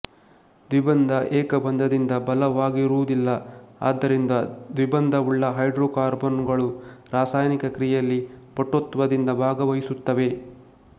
ದ್ವಿಬಂಧ ಏಕಬಂಧದಿಂದ ಬಲವಾಗಿರುವುದಿಲ್ಲ ಆದ್ದರಿಂದ ದ್ವಿಬಂಧವುಳ್ಳ ಹೈಡ್ರೋಕಾರ್ಬನ್ನುಗಳು ರಾಸಾಯನಿಕ ಕ್ರಿಯೆಯಲ್ಲಿ ಪಟುತ್ವದಿಂದ ಭಾಗವಹಿಸುತ್ತವೆ